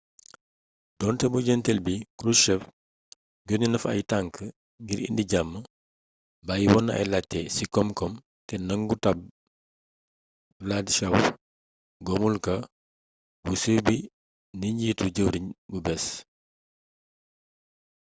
donté ci mujjeenteel bi krushchev yonné na fa ay tank ngir indi jam bayyi wonna ay laajté ci komkom té nangu tabb wladyshaw gomulka bu siiw bi ni njiitu jëwriñ bu béés